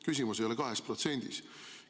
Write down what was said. Küsimus ei ole 2%-s.